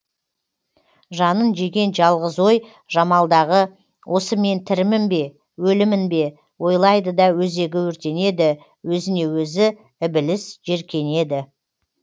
жанын жеген жалғыз ой жамалдағы осы мен тірімін бе өлімін бе ойлайды да өзегі өртенеді өзіне өзі ібіліс жеркенеді